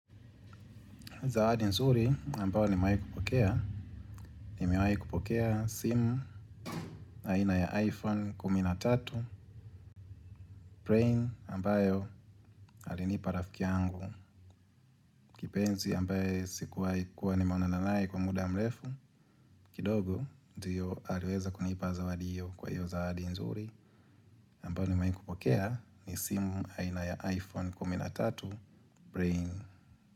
Zawadi nzuri ambayo nimawai kupokea, nimawai kupokea simu aina ya iPhone kumi na tatu brain ambayo alinipa rafiki yangu. Kipenzi ambaye sikuwahi kuwa nimeonana naye kwa muda mrefu, kidogo ndiyo aliweza kunipa zawadi hiyo kwa hiyo zawadi nzuri ambayo nimawai kupokea ni simu haina ya iPhone kumi na tatu brain.